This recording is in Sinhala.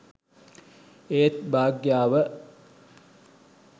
ඒත් භාග්‍යාව